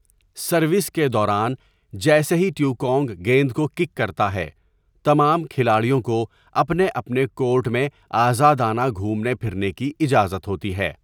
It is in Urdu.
سروس کے دوران، جیسے ہی ٹیکونگ گیند کو کِک کرتا ہے، تمام کھلاڑیوں کو اپنے اپنے کورٹ میں آزادانہ گھومنے پھرنے کی اجازت ہوتی ہے۔